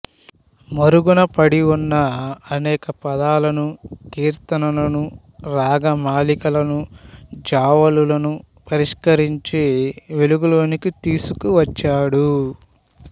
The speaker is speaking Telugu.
మరుగున పడివున్న అనేక పదాలను కీర్తనలను రాగమాలికలను జావళులను పరిష్కరించి వెలుగులోకి తీసుకువచ్చాడు